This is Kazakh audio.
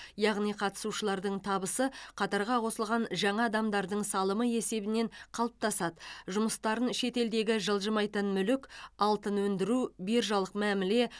яғни қатысушылардың табысы қатарға қосылған жаңа адамдардың салымы есебінен қалыптасады жұмыстарын шетелдегі жылжымайтын мүлік алтын өндіру биржалық мәміле